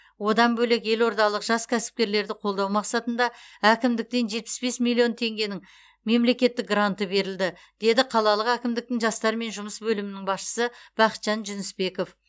одан бөлек елордалық жас кәсіпкерлерді қолдау мақсатында әкімдіктен жетпіс бес миллион теңгенің мемлекеттік гранты берілді деді қалалық әкімдіктің жастармен жұмыс бөлімінің басшысы бақытжан жүнісбеков